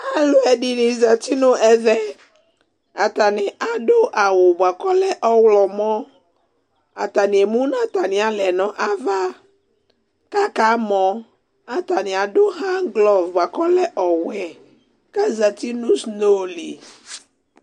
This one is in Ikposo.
aluɛdɩnɩ zati nu ɛmɛ, atanɩ adu awu bua kɔlɛ ɔwlɔmɔ atanɩ emu nu atamɩ aɣlawa nu ava ku akamɔ, atani adu handglove bua kɔlɛ ɔwɛ kazati nu sno li